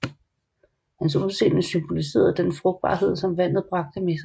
Hans udseende symboliserede den frugtbarhed som vandet bragte med sig